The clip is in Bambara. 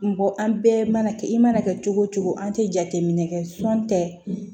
Mɔgɔ an bɛɛ mana kɛ i mana kɛ cogo cogo an tɛ jateminɛ kɛ sɔn tɛ